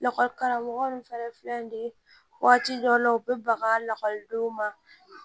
Lakɔli karamɔgɔ ninnu fɛnɛ filɛ nin ye waati dɔ la u bɛ baga lakɔlidenw ma